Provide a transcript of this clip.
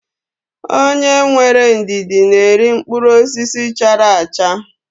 Onye nwere ndidi na-eri mkpụrụ osisi chara acha.